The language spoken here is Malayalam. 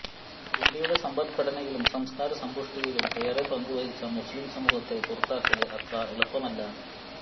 ഇന്ത്യയുടെ സമ്പദ് ഘടനയിലും സംസ്കാര സമ്പുഷ്ടിയിലും ഏറെ പങ്കു വഹിച്ച മുസ്ലിം സമൂഹത്തെ പുറത്താക്കല് അത്ര എളുപ്പമല്ല